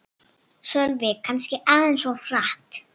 Sölvi: Kannski aðeins of hratt